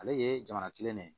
Ale ye jamana kelen de ye